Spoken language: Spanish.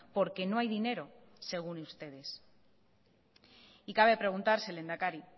porque no hay dinero según ustedes y cabe preguntarse lehendakari